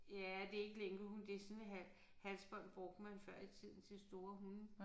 Ja det ikke lænkehund det sådan halsbånd brugte man før i tiden til store hunde